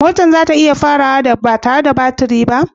Motar za ta iya farawa ba tare da baturi ba?